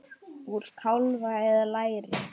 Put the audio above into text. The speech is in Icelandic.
Úr kálfa eða læri!